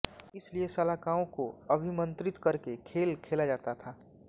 इसलिए शलाकाओं को अभिमंत्रित करके खेल खेला जाता था